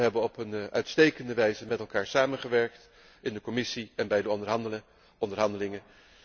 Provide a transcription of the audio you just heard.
We hebben op een uitstekende wijze met elkaar samengewerkt, in de commissie en bij de onderhandelingen.